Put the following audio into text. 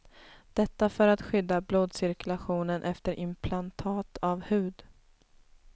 Detta för att skydda blodcirkulationen efter implantat av hud.